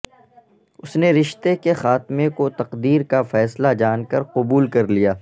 اس نے رشتے کے خاتمے کو تقدیر کا فیصلہ جان کر قبول کر لیا